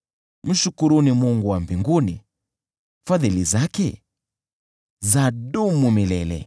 Mshukuruni Mungu wa mbinguni, Fadhili zake zadumu milele .